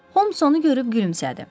Homs onu görüb gülümsədi.